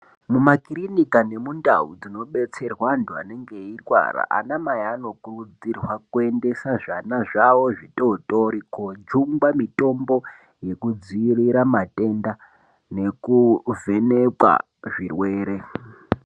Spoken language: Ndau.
Mumakirinika nundau dzinobetserwa antu anenge eirwara anamai anokurudzirwa kuendesa zvana zvawo zvitotori kojungwa mutombo yekudziirira matenda nekuvhenekwa zvirwere.